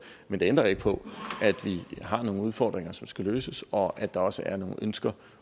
men det ændrer ikke på at vi har nogle udfordringer som skal løses og at der også er nogle ønsker